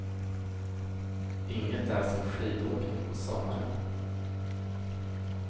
Inget är som skidåkning på sommaren.